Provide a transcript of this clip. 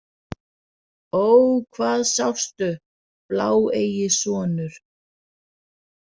Ó, hvað sástu, bláeygi sonur?